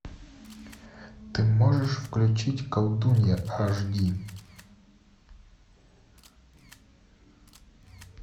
ты можешь включить колдунья аш ди